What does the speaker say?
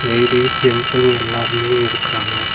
Ladies ஜென்ஸ்னு எல்லாருமே இருக்குறாங்க.